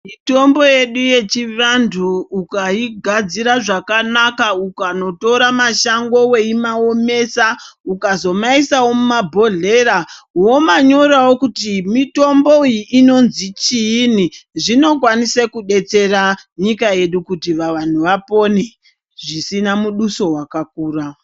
Mitombo yedu yechivantu ukaigadzira zvakanaka ukanotora mashango weimaomesa, ukazomaisawo mumabhodhlera ,womanyorawo kuti mitomboiyi inonzi chiini, zvinokwanisa kudetsera nyika yedu kuti vanhu vapone, zvisina muduso wakakura.